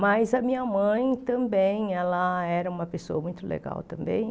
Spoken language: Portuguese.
Mas a minha mãe também ela era uma pessoa muito legal também